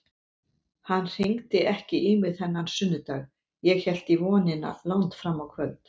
Hann hringdi ekki í mig þennan sunnudag, ég hélt í vonina langt fram á kvöld.